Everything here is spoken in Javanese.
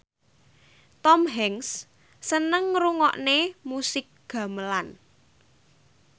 Tom Hanks seneng ngrungokne musik gamelan